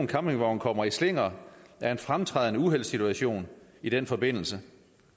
campingvognen kommer i slinger er en fremtrædende uheldssituation i den forbindelse